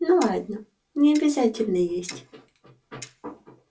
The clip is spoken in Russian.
ну ладно не обязательно есть